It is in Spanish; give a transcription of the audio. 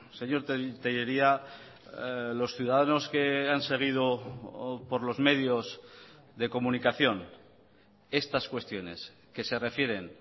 señor tellería los ciudadanos que han seguido por los medios de comunicación estas cuestiones que se refieren